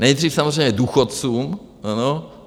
Nejdřív samozřejmě důchodcům.